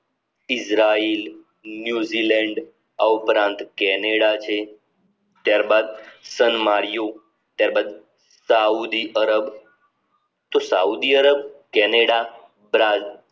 Israel New Zealand આ ઉપરાંત Canada છે ત્યાર બાદ સ્નમાર્યોં ત્યાર બાદ સાઉદી આરબ તો સાઉદી આરબ કેનેડા બ્રાઝીલ